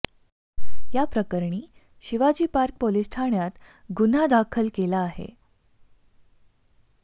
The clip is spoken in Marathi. याप्रकरणी शिवाजी पार्क पोलीस ठाण्यात गुन्हा दाखल केला आहे